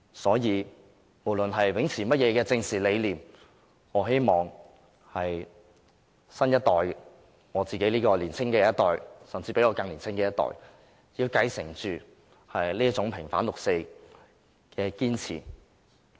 所以，不論秉持哪種政治理念，我希望包括我在內的年青一代，甚至比我更年青的一代，要繼承這種平反六四的堅持。